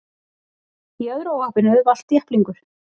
Í öðru óhappinu valt jepplingur